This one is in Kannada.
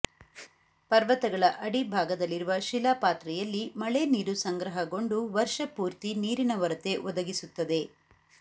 ಪರ್ವತಗಳ ಅಡಿಭಾಗದಲ್ಲಿರುವ ಶಿಲಾಪಾತ್ರೆಯಲ್ಲಿ ಮಳೆ ನೀರು ಸಂಗ್ರಹಗೊಂಡು ವರ್ಷ ಪೂರ್ತಿ ನೀರಿನ ಒರತೆ ಒದಗಿಸುತ್ತದೆ